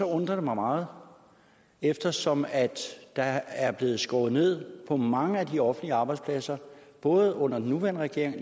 undrer mig meget eftersom der er blevet skåret ned på mange af de offentlige arbejdspladser både under den nuværende regering